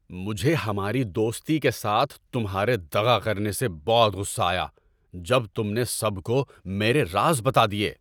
مجھے ہماری دوستی کے ساتھ تمہارے دغا کرنے سے بہت غصہ آیا جب تم نے سب کو میرے راز بتا دیے۔